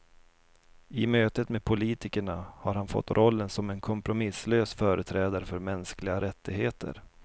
I mötet med politikerna har han fått rollen som en kompromisslös företrädare för mänskliga rättigheter.